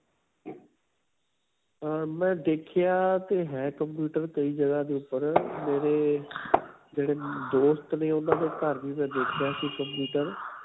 ਅਅ ਮੈਂ ਦੇਖਿਆ ਤੇ ਹੈ computer ਕਈ ਜਗ੍ਹਾ ਦੇ ਉਪਰ ਮੇਰੇ ਜਿਹੜੇ ਦੋਸਤ ਨੇ ਉਨ੍ਹਾਂ ਦੇ ਘਰ ਵੀ ਮੈਂ ਦੇਖਿਆ ਸੀ computer.